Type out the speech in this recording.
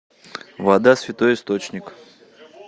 вода святой источник